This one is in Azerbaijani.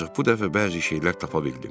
Ancaq bu dəfə bəzi şeylər tapa bildim.